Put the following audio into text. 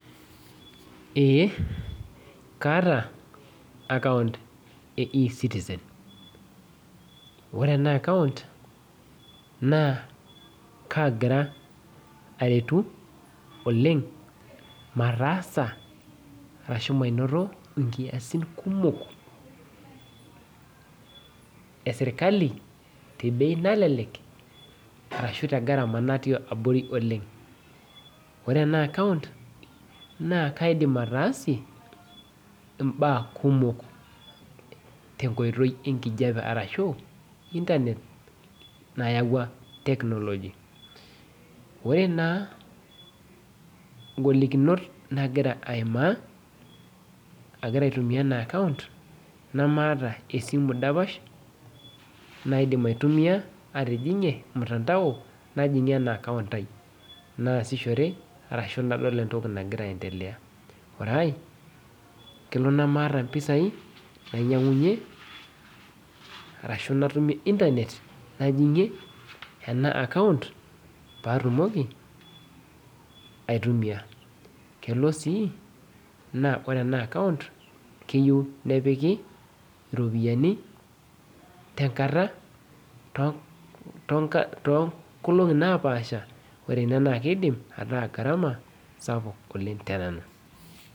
Eh kaata account e ecitizen ore ena account naa kagira aretu oleng mataasa arashu mainoto inkiasin kumok esirkali te bei nalelek arashu te gharama natii abori oleng ore ena account naa kaidim ataasie imbaa kumok tenkoitoi enkijape arashu internet nayawua technology ore naa ingolikinot nagira aimaa agira aitumia ena account naamaata esimu dapash naidim aitumia atijing'ie mtandao najing'ie ena account ai naasishore arashu nadol entoki nagira aendelea ore ae kelo nemaata impisai nainyiang'unyie arashu natumie internet najing'ie ena account patumoki aitumia kelo sii naa ore ena account keyieu nepiki iropiyiani tenkata tonka tonkolong'i napaasha ore ina naa kidim ataa gharama sapuk oleng tenanu.